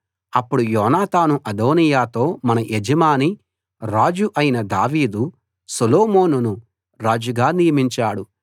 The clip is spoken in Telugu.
అప్పుడు యోనాతాను అదోనీయాతో మన యజమాని రాజు అయిన దావీదు సొలొమోనును రాజుగా నియమించాడు